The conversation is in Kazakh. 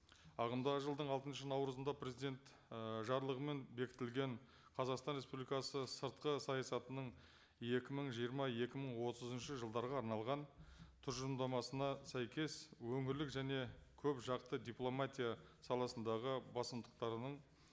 ағымдағы жылдың алтыншы наурызында президент ы жарлығымен бекітілген қазақстан республикасы сыртқы саясатының екі мың жиырма екі мың отызыншы жылдарға арналған тұжырымдамасына сәйкес өңірлік және көпжақты дипломатия саласындағы басымдықтарының